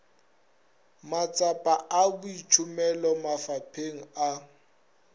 matsapa a boitšhomelo mafapheng a